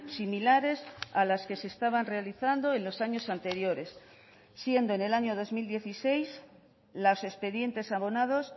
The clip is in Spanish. similares a las que se estaban realizando en los años anteriores siendo en el año dos mil dieciséis los expedientes abonados